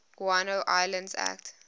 guano islands act